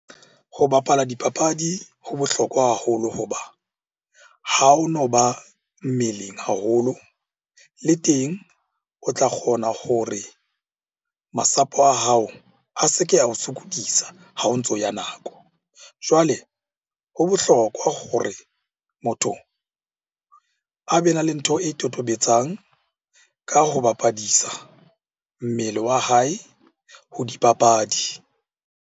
Ho bapala dipapadi ho bohlokwa haholo ho ba ha o no ba mmeleng haholo. Le teng o tla kgona hore masapo a hao a se ke ao sokodisa ha o ntso ya nako. Jwale ho bohlokwa hore motho a be na le ntho e totobetsang ka ho bapadisa mmele wa hae ho dipapadi.